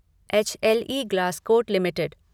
H L E Glascoat limited